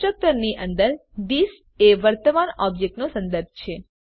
constructor ની અંદર this એ વર્તમાન ઓબ્જેક્ટ નો સંદર્ભ છે